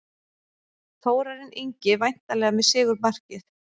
Þórarinn Ingi væntanlega með sigurmarkið.